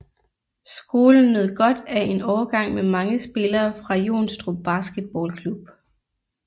Skolen nød godt af en årgang med mange spillere fra Jonstrup Basketball Klub